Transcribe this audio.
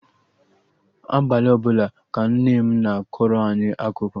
Abalị ọbụla ka Nne m na-akọrọ anyị akụkọ